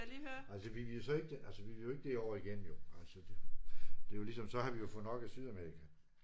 Altså vi vil jo så ikke altså vi vil jo ikke derover igen jo. Altså det jo det er jo ligesom så har vi fået nok af Sydamerika